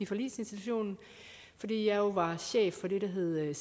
forligsinstitutionen fordi jeg jo var chef for det der hed